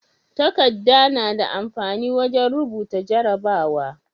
Takadda nada amfani wajan rubuta jarabawa?